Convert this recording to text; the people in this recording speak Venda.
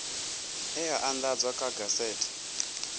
e a andadzwa kha gazethe